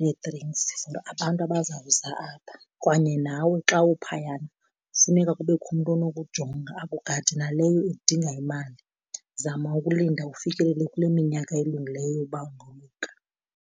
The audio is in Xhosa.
nee-drinks for abantu abazawuza apha. Kwanye nawe xa uphayana funeka kubekho umntu onokujonga akugade, naleyo idinga imali. Zama ukulinda ufikelele kule minyaka elungileyo ukuba ungoluka.